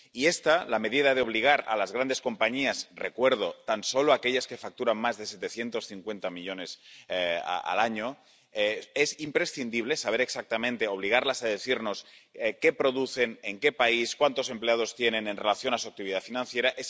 Y esta medida de obligar a las grandes compañías —recuerdo, tan solo aquellas que facturan más de 750 millones al año— es imprescindible, para obligarlas a decirnos exactamente qué producen, en qué país y cuántos empleados tienen, en relación con su actividad financiera.